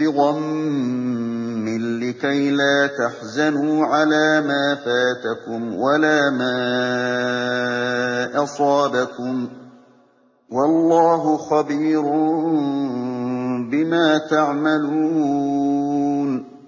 بِغَمٍّ لِّكَيْلَا تَحْزَنُوا عَلَىٰ مَا فَاتَكُمْ وَلَا مَا أَصَابَكُمْ ۗ وَاللَّهُ خَبِيرٌ بِمَا تَعْمَلُونَ